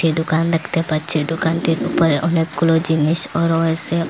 দোকান দেখতে পাচ্ছি দোকানটির ওপরে অনেকগুলো জিনিসও রয়েসে ও--